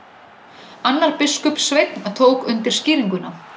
Annar biskupssveinn tók undir skýringuna.